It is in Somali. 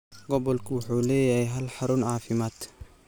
Gobolku wuxuu leeyahay hal xarun caafimaad.